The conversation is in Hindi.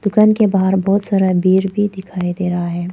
दुकान के बाहर बहुत सारा भीड़ भी दिखाई दे रहा है।